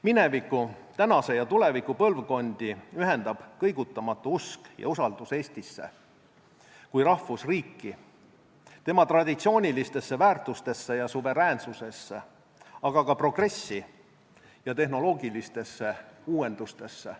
Mineviku, tänase ja tuleviku põlvkondi ühendab kõigutamatu usk Eestisse kui rahvusriiki, tema traditsioonidesse, väärtustesse ja suveräänsusesse, aga ka progressi ja tehnoloogilistesse uuendustesse.